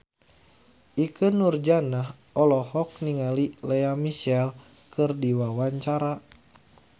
Ikke Nurjanah olohok ningali Lea Michele keur diwawancara